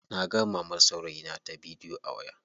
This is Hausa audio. Naga mamar saurayina ta bidiyo a waya.